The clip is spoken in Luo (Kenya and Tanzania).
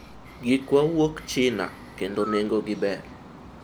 gikwa wuok china kendo nengo gi ber